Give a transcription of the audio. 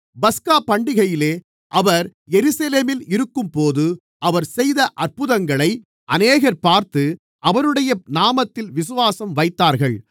பஸ்கா பண்டிகையிலே அவர் எருசலேமில் இருக்கும்போது அவர் செய்த அற்புதங்களை அநேகர் பார்த்து அவருடைய நாமத்தில் விசுவாசம் வைத்தார்கள்